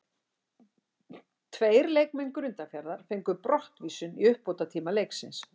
Tveir leikmenn Grundarfjarðar fengu brottvísun í uppbótartíma leiksins.